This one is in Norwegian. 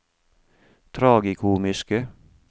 tragikomiske